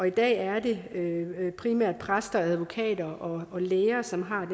i dag er det primært præster advokater og læger som har